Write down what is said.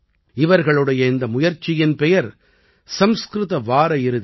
இவர்களுடைய இந்த முயற்சியின் பெயர் சம்ஸ்கிருத வார இறுதி